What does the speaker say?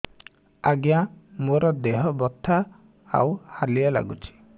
ଆଜ୍ଞା ମୋର ଦେହ ବଥା ଆଉ ହାଲିଆ ଲାଗୁଚି